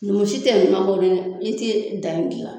Numu si ti i ti danni gilan